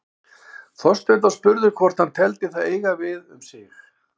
Þorsteinn var spurður hvort hann teldi það eiga við um sig.